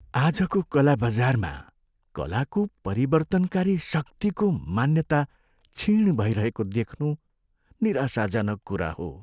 आजको कला बजारमा कलाको परिवर्तनकारी शक्तिको मान्यता क्षीण भइरहेको देख्नु निराशाजनक कुरा हो।